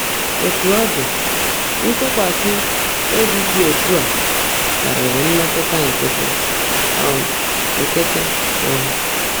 Ótú ó ḍị́, ntụ́kwasị́ óbí ḍị́ ọ́tú́ á kárị́rị́ mmétụ́tá ńkịtị́. um ńkịtị́. um